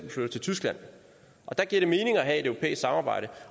tyskland der giver det mening at have et europæisk samarbejde